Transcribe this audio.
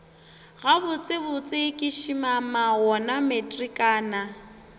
gabotsebotse ke šimama wona matrikana